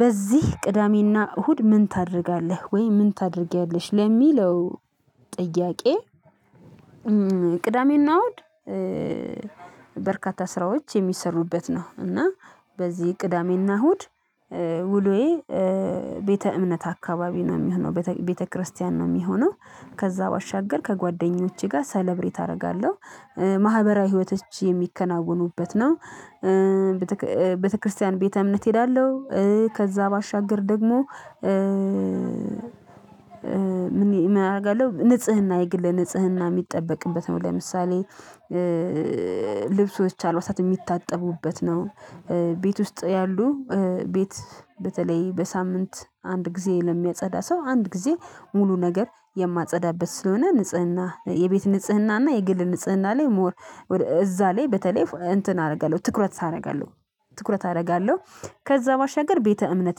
በዚህ ቅዳሜና እሁድ ምን ታደርጋለህ? ወይ ምን ታደርጊያለሽ? ለሚለው ጥያቄ ቅዳሜና እውድ በርካታ ስራዎች የሚሰሩበት ነው እና በዚህ ቅዳሜና እሁድ ውሎዬ ቤተ እምነት አካባቢ ነው ሚሆነው ቤተ ክርስቲያን ነው ሚሆነው። ከዛ ባሻገር ከጓደኞቼ ጋር ሰለብሬት አደርጋለሁ። ማህበራዊ ህይወቶች የሚከናወኑበት ነው። ቤተክርስቲያን ቤተ እምነት እሄዳለሁ። ከዛ ባሻገር ደግሞ እምነት አደርጋለሁ ንጽህና የግል ንጽህና የሚጠበቅበት ነው። ለምሳሌ ልብሶች አልባሳት ሚታጠቡበት ነው። ቤት ውስጥ ያሉ ቤት በተለይ በሳምንት አንድ ጊዜ ለሚያጸዳ ሰው አንድ ጊዜ ሙሉ ነገር የማጸዳበት ስለሆነ ንጽህና የቤት ንጽህና እና የግል ንጽህና ላይ ሞር እዛ ላይ በተለይ እንትን አደርጋለሁ ትኩረት አደርጋለሁ ትኩረት አደርጋለሁ። ከዛ ባሻገር ቤተ እምነት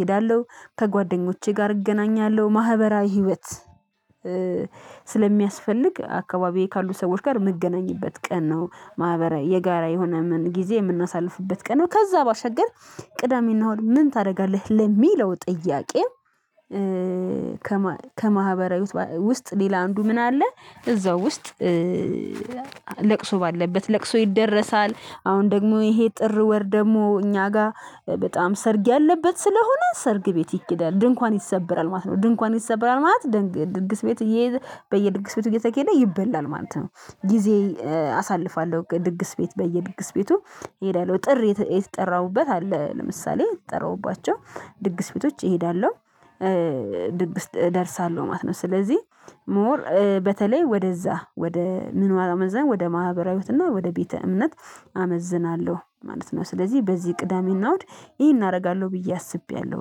እሄዳለሁ። ከጓደኞቼ ጋር እገናኛለሁ። ማህበራዊ ህይወት ስለሚያስፈልግ አካባቢዬ ካሉ ሰዎች ጋር ምገናኝበት ቀን ነው። ማህበራዊ የጋራ የሆነ ምን ጊዜ ምናሳልፍበት ቀን ነው። ከዛ ባሻገር ቅዳሜና ምን ታደርጋለህ? ለሚለው ጥያቄ ከማህበራዊ ውስጥ ሌላ አንዱ ምን አለ እዛው ውስጥ ለቅሶ ባለበት ለቅሶ ይደረሳል። አሁን ደግሞ ይሄ ጥር ወር ደግሞ እኛ ጋ በጣም ሰርግ ያለበት ስለሆነ ሰርግ ቤት ይኬዳል። ድንኳን ይሰበራል ማለት ነው። ድንኳን ይሰበራል ማለት ድግስ ቤት በየድግስ ቤቱ እየተኬደ ይበላል ማለት ነው። ጊዜ አሳልፋለሁ ድግስ ቤት በየድግስ ቤቱ ሄዳለሁ። ጥር የተጠራሁበት አለ ለምሳሌ የተጠራሁባቸው ድግስ ቤቶች እሄዳለሁ ድግስ ደርሳለሁ ማለት ነው። ስለዚህ ሞር በተለይ ወደዛ ወደ ምን ወደ ማህበራዊ ህይወት እና ወደ ቤተ እምነት አመዝናለሁ ማለት ነው። ስለዚህ በዚህ ቅዳሜ እና እሁድ ይሄን አደርጋለሁ ብዬ አስቤያለሁ።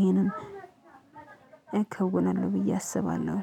ይሄንን እከውናለሁ ብዬ አስባለሁ።